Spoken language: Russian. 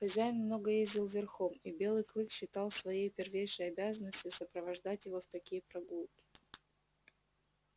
хозяин много ездил верхом и белый клык считал своей первейшей обязанностью сопровождать его в такие прогулки